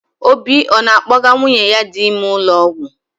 Obi ọ na-akpọga nwunye ya dị ime ụlọọgwụ?